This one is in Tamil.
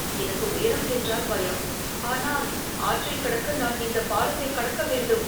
எனக்கு உயரம் என்றால் பயம், ஆனால், ஆற்றைக் கடக்க நான் இந்தப் பாலத்தைக் கடக்க வேண்டும்.